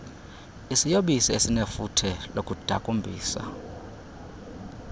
isiyobisi esinefuthe lokudakumbisa